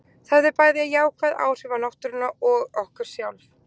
Það hefði bæði afar jákvæð áhrif á náttúruna og okkur sjálf.